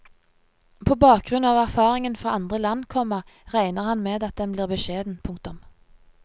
På bakgrunn av erfaringen fra andre land, komma regner han med at den blir beskjeden. punktum